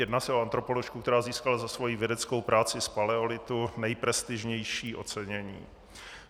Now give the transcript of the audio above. Jedná se o antropoložku, která získala za svoji vědeckou práci z paleolitu nejprestižnější ocenění.